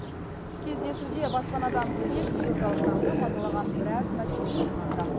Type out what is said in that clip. кездесуде баспанадан бөлек елордалықтарды мазалаған біраз мәселе талқыланды